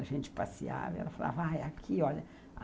A gente passeava, e ela falava, ah, é aqui, olha.